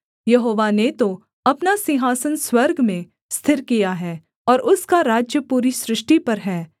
यहोवा ने तो अपना सिंहासन स्वर्ग में स्थिर किया है और उसका राज्य पूरी सृष्टि पर है